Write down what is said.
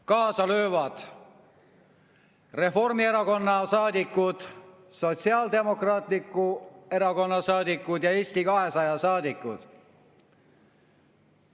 Kaasa löövad Reformierakonna saadikud, Sotsiaaldemokraatliku Erakonna saadikud ja Eesti 200 saadikud.